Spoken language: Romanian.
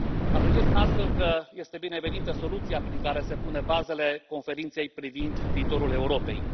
Apreciez astfel că este binevenită soluția prin care se pun bazele Conferinței privind viitorul Europei.